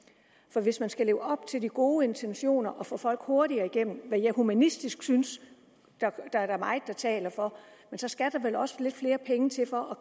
for hvis man skal leve op til de gode intentioner og få folk hurtigere igennem hvad jeg humanistisk synes at der er meget der taler for skal der vel også lidt flere penge til for at